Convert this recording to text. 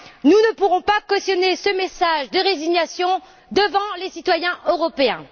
Nous ne pourrons pas cautionner ce message de résignation devant les citoyens européens.